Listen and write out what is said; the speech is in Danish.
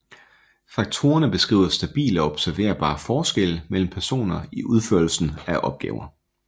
Faktorerne beskriver stabile og observerbare forskelle mellem personer i udførelsen af opgaver